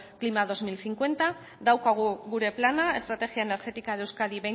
klima bi mila berrogeita hamar daukagu gure plana estrategia energética de euskadi